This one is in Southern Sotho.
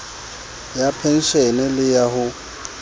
ya penshene le ya ho